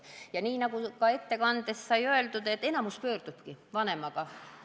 Ja nii nagu ka ettekandes sai öeldud, pöördubki enamik vastuvõtule koos vanemaga.